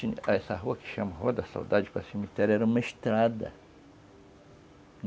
Essa rua que chama Rua da Saudade, com a cemitéria, era uma estrada.